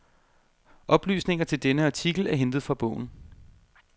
Oplysninger til denne artikel er hentet fra bogen.